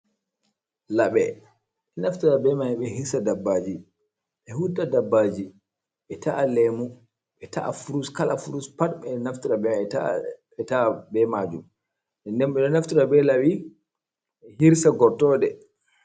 Laɓe ɓe ɗo naftira be may, ɓe hirsa dabbaaji, ɓe hutta dabbaaji, ɓe ta’a leemu, ɓe ta’a furus, kala furus pat ɓe naftira be maajum, nden ɓe ɗo naftira be laɓi, ɓe hirsa gortoɗe.